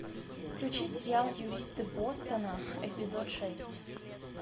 включи сериал юристы бостона эпизод шесть